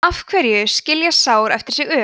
af hverju skilja sár eftir sig ör